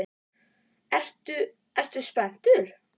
Ertu, ertu spenntur?